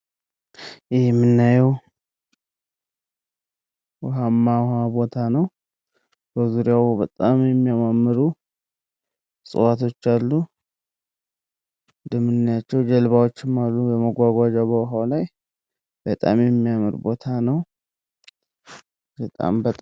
ይህ የምናየዉ ዉኃማ ዉኃ ቦታ ነዉ። በዙሪያዉ በጣም የሚያማምሩ እፅዋቶች አሉ። እንደምናያቸዉ ጀልባዎችም አሉ ለመጓጓዣ በዉኃዉ ላይ፤ በጣም የሚያምር ቦታ ነዉ።